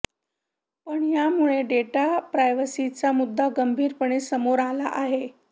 पण यामुळे डेटा प्रायव्हसीचा मुद्दा गंभीरपणे समोर आला आहे